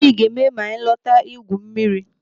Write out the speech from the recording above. Gịnị ga-eme ma anyị lọta igwu mmiri?